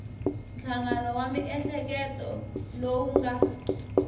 nhlangano wa miehleketo lowu nga